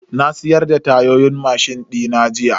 Na siyar da tayoyin mashin dina jiya.